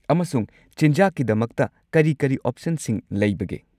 ꯑꯃꯁꯨꯡ ꯆꯤꯟꯖꯥꯛꯀꯤꯗꯃꯛꯇ ꯀꯔꯤ-ꯀꯔꯤ ꯑꯣꯞꯁꯟꯁꯤꯡ ꯂꯩꯕꯒꯦ?